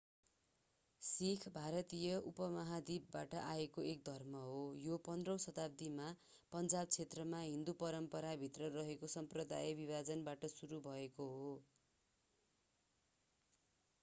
सिख भारतीय उपमहाद्वीपबाट आएको एक धर्म हो यो 15 औँ शताब्दीमा पञ्जाब क्षेत्रमा हिन्दू परम्पराभित्र रहेको साम्प्रदायिक विभाजनबाट सुरु भएको हो